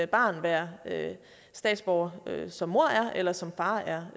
barn være statsborger som mor er eller som far er